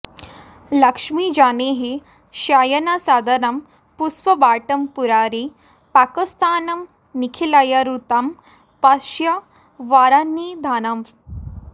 लक्ष्मीजानेः शयनसदनं पुष्पवाटं पुरारेः पाकस्थानं निखिलमरुतां पश्य वारान्निधानम्